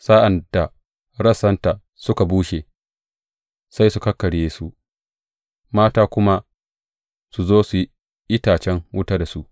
Sa’ad da rassanta suka bushe, sai su kakkarye su mata kuma su zo su yi itacen wuta da su.